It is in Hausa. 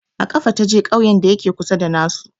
A ƙafa ta je ƙauyen da ya ke kusa da na su